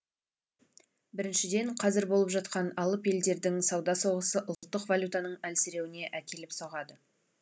біріншіден қазір болып жатқан алып елдердің сауда соғысы ұлттық валютаның әлсіреуіне әкеліп соғады